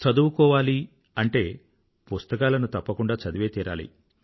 చదువుకోవాలి అంటే పుస్తకాలను తప్పకుండా చదివే తీరాలి